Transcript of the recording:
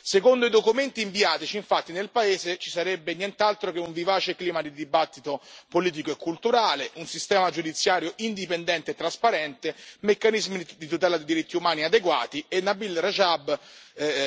Secondo i documenti inviatici, infatti, nel paese ci sarebbero nient'altro che un vivace clima di dibattito politico e culturale, un sistema giudiziario indipendente e trasparente e meccanismi di tutela dei diritti umani adeguati, e Nabeel Rajab